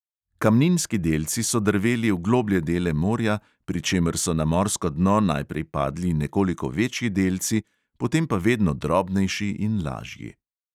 Kamninski delci so drveli v globlje dele morja, pri čemer so na morsko dno najprej padli nekoliko večji delci, potem pa vedno drobnejši in lažji.